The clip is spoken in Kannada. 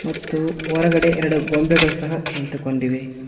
ಮತ್ತು ಹೊರಗಡೆ ಎರಡು ಗೊಂಬೆಗಳು ಸಹ ನಿಂತುಕೊಂಡಿವೆ.